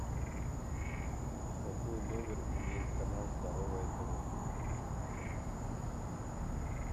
какой номер имеет канал здоровое тв